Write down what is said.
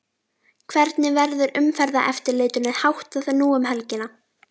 Hvernig verður umferðareftirlitinu háttað nú um helgina?